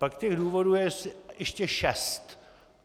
Pak těch důvodů je ještě šest.